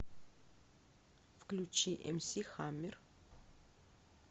включи эмси хаммер